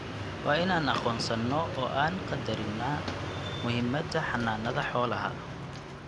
waa in aan aqoonsanno oo aan qadarinnaa muhiimadda xanaanada xoolaha.